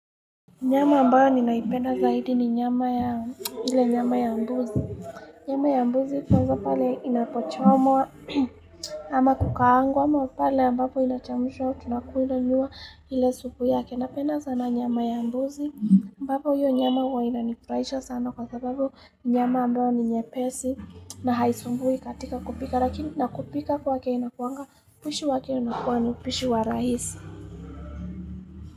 Nyama ambayo ninaipenda zaidi ni nyama ya mbuzi. Nyama ya mbuzi tunazo pale inapochomwa ama kukaangu ama pale ambapo inachamusha wao tunakuinanyua hile subu yake. Napena sana nyama ya mbuzi ambapo hiyo nyama uwa inanifraisha sana kwa sababu nyama ambayo ni nye pesi na haisumbui katika kupika. Lakini nakupika kwa ke inakuanga pishu wa ke unakuwa nupishu wa rahisi.